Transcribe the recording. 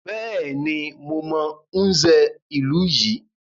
Bẹ́ẹ̀ni, mo mọ Nze ìlú yìí.